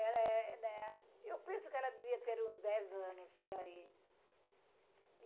Ela é, né... Eu penso que ela devia ter uns dez anos por aí.